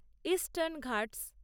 eastern Ghats